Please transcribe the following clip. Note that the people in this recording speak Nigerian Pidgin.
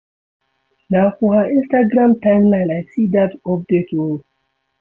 Na for her Instagram timeline I see dat update o.